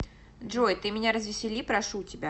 джой ты меня развесели прошу тебя